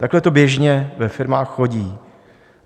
Takhle to běžně ve firmách chodí.